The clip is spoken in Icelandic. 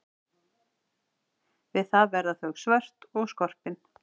Við það verða þau svört og skorpin.